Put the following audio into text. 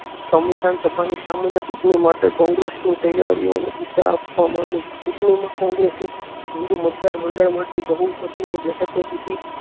સંવિધાન સભા ની સામાન્ય ચૂંટણી માટે કોંગ્રેસ ની દિશા આપવા મંડી ચૂંટણી માં કોંગ્રેસે હિન્દૂ મતદાર મંડળ માંથી બહુમતી એ બેઠકો જીતી.